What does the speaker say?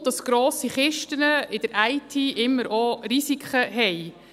Dazu kommt, dass grosse Kisten in der IT immer auch Risiken haben.